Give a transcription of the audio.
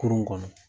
Kurun kɔnɔ